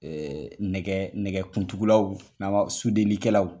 Ɛɛ nɛgɛkuntugulaw n'an ba sudelikɛlaw.